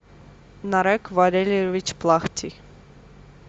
нарек валерьевич плахтий